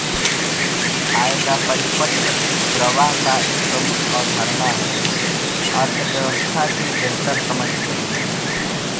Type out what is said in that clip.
आय का परिपत्र प्रवाह एक प्रमुख अवधारणा है अर्थव्यवस्था की बेहतर समझ के लिए